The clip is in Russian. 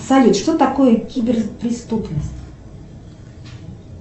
салют что такое киберпреступность